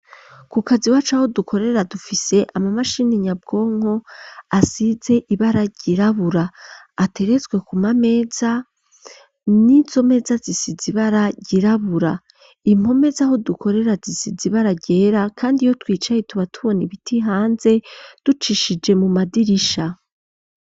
Kukazi iwacu aho dukorera dufise ama mashini nyabwonko asize ibara girabura aterezwe ku mameza n'izomeza zisi zibara girabura impomezaho dukorera zisi zibara gera kandi iyo twicaye tuba tubona ibiti hanze ducishije mu madirisha.